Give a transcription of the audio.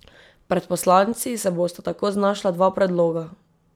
Pred poslanci se bosta tako znašla dva predloga.